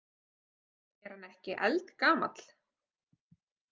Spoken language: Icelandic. Er hann ekki eldgamall?